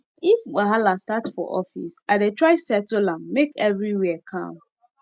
if wahala start for office i dey try settle am make everywhere calm